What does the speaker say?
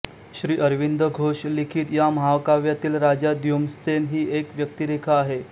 श्री अरविंद घोष लिखित या महाकाव्यातील राजा द्युमत्सेन ही एक व्यक्तिरेखा आहे